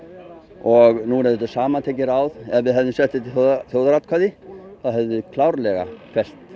og nú eru þetta samantekin ráð ef við hefðum sett þetta í þjóðaratkvæði hefðum við klárlega fellt